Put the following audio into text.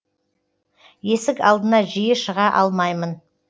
есік алдына жиі шыға алмаймын